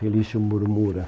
Felício Murmura.